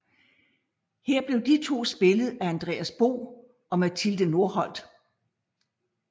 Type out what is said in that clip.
Her blev de to spillet af Andreas Bo og Mathilde Norholt